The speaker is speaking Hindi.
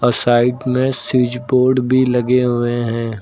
साइड में स्विच बोर्ड भी लगे हुए हैं।